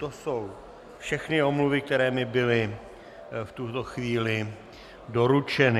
To jsou všechny omluvy, které mi byly v tuto chvíli doručeny.